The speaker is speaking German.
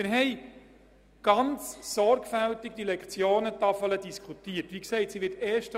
Wir haben die Lektionentafel sehr sorgfältig diskutiert.